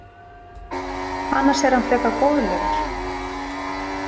Annars er hann frekar góðlegur.